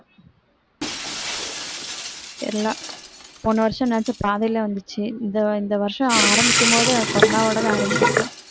தெரியலே போன வருஷம்னாச்சு பாதியிலே வந்துச்சு இந்த இந்த வருஷம் ஆரம்பிக்கும்போதே corona வோட தான் ஆரம்பிச்சிருக்கு